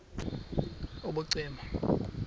wav usel ubucima